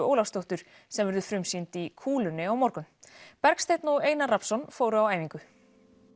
Ólafsdóttur sem verður frumsýnd í kúlunni á morgun Bergsteinn og Einar Rafnsson fóru á æfingu